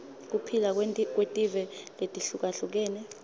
kuphila kwetive letihlukahlukene